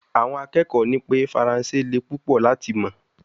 Awon akekoo ni pe faranse le pupo lati mo